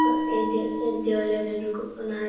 আর এই দে এর দেয়ালে অনেক রকম নানা রকম --